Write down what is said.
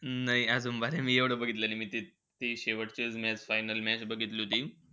नाही. मी अजून बारे मी एव्हडं बघितलं नई. मी ती शेवटचीचं match final match बघितली होती.